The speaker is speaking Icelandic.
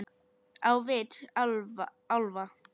Á vit álfa.